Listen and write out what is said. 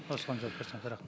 осыған жауап берсеңіз